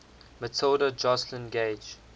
matilda joslyn gage